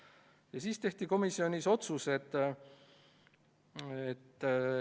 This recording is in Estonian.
Seejärel tehti komisjonis otsused.